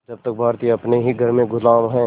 जब तक भारतीय अपने ही घर में ग़ुलाम हैं